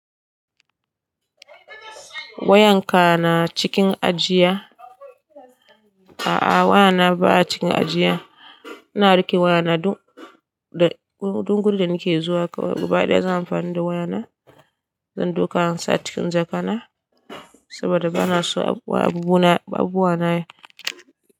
Wayanka na cikin ajiya? A'a wayana baya cikin ajiya. Ina rike wayana duk da, duk gurin da nake zuwa. Gaba ɗaya zan amfani da wayana. Zan dauka in sa cikin jakana saboda bana so abubuwa na, abubuwa na yi.